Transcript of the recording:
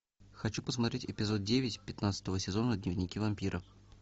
хочу посмотреть эпизод девять пятнадцатого сезона дневники вампира